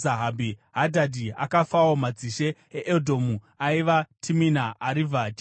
Hadhadhi akafawo. Madzishe eEdhomu aiva: Timina, Arivha, Jeteti